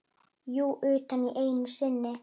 Jú, utan einu sinni.